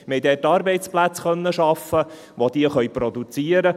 Wir konnten dort Arbeitsplätze in der Produktion schaffen.